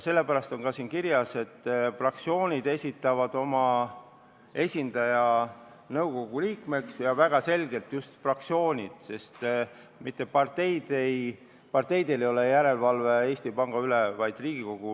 Sellepärast on siin ka kirjas, et fraktsioonid esitavad oma esindaja nõukogu liikmeks – ja väga selgelt just fraktsioonid, sest mitte parteid ei teosta järelevalvet Eesti Panga üle, vaid Riigikogu.